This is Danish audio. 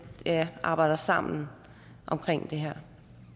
arbejder sammen om det her